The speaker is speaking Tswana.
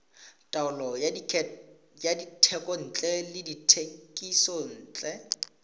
taolo ya dithekontle le dithekisontle